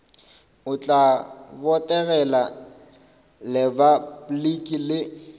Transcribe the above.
o tla botegela repabliki le